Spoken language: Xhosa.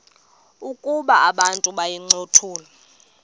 ukuba abantu bayincothule